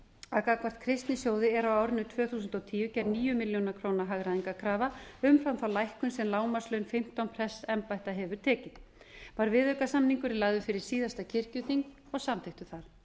að gagnvart kristnisjóði er á árinu tvö þúsund og tíu gerð níu milljónir króna hagræðingarkrafa umfram þá lækkun sem lágmarkslaun fimmtán prestsembætta hefur tekið var viðaukasamningurinn lagður fyrir síðasta kirkjuþing og samþykktur þar